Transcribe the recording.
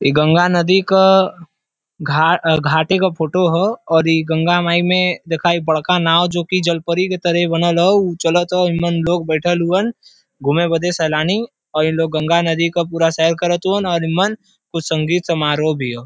ई गंगा नदी क घा घाटे क फोटो ह और ई गंगा माई में देखा ई बड़का नाव जो कि जलपरी की तरह बनल ह ऊ चालत ह। एमन लोग बइठल हुवन घूमे बदे सैलानी और इनलोग गंगा नदी क पूरा सैर करत हुवन और एमन कुछ संगीत समारोह भी ह।